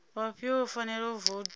vhafhio vho fanelaho u voutha